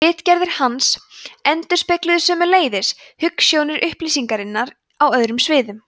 ritgerðir hans endurspegluðu sömuleiðis hugsjónir upplýsingarinnar á öðrum sviðum